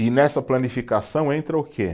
E nessa planificação entra o quê?